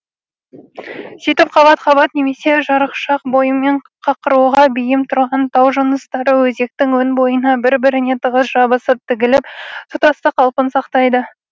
сөйтіп қабат қабат немесе жарықшақ бойымен қақырауға бейім тұрған тау жыныстары өзектің өн бойына бір біріне тығыз жабысып тігіліп тұтастық қалпын сақтайды